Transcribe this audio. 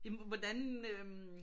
Jamen hvordan øh